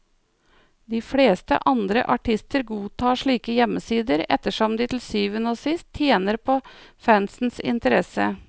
De fleste andre artister godtar slike hjemmesider, ettersom de til syvende og sist tjener på fansens interesse.